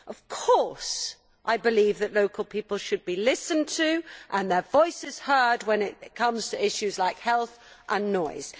Of course I believe that local people should be listened to, and their voices heard, when it comes to issues like health and noise.